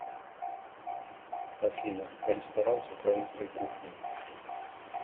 афина ресторан с украинской кухней